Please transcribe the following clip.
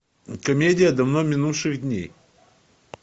комедия давно минувших дней